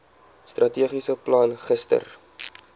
strategiese plan gister